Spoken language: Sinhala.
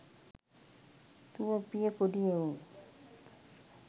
දුවපිය පොඩි එවුන්